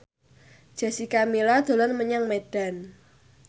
Jessica Milla dolan menyang Medan